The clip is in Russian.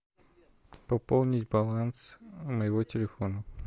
пополнить баланс моего телефона